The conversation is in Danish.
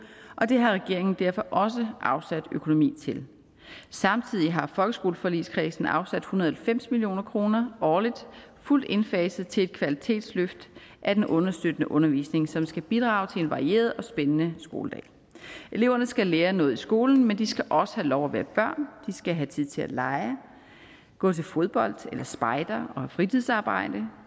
og det har regeringen derfor også afsat økonomi til samtidig har folkeskoleforligskredsen afsat en hundrede og halvfems million kroner årligt fuldt indfaset til et kvalitetsløft af den understøttende undervisning som skal bidrage til en varieret og spændende skoledag eleverne skal lære noget i skolen men de skal også have lov at være børn de skal have tid til at lege gå til fodbold eller spejder og have fritidsarbejde